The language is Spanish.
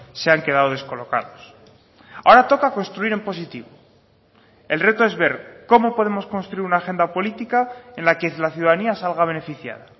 se han quedado descolocados ahora toca construir en positivo el reto es ver cómo podemos construir una agenda política en la que la ciudadanía salga beneficiada